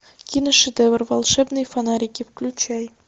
киношедевр волшебные фонарики включай